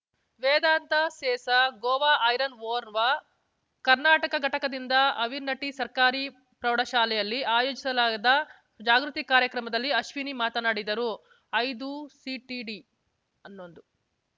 ವೇದಾಂತ Sesa Goa Iron ಓರ್‌ವ ಕರ್ನಾಟಕ ಘಟಕದಿಂದ ಆವಿನಟ್ಟಿಸರ್ಕಾರಿ ಪ್ರೌಢಶಾಲೆಯಲ್ಲಿ ಆಯೋಜಿಸಲಾದ ಜಾಗೃತಿ ಕಾರ್ಯಕ್ರಮದಲ್ಲಿ ಅಶ್ವಿನಿ ಮಾತನಾಡಿದರು ಐದು ಐದುಸಿಟಿಡಿಹನ್ನೊಂದು